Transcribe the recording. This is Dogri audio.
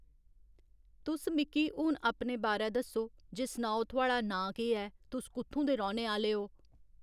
तुस मिक्की हुन अपने बारै दस्सो जे सनाओ थुआढ़ा नांऽ केह् ऐ तुस कुत्थूं दे रौह्‌ने आह्‌ले ओ